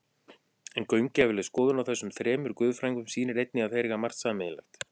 En gaumgæfileg skoðun á þessum þremur guðfræðingum sýnir einnig að þeir eiga margt sameiginlegt.